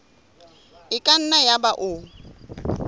e ka nna yaba o